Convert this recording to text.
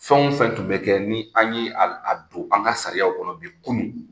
Fɛn fɛn tun bɛ kɛ ni an ye a a don an ka sariyaw kɔnɔ bi, kunun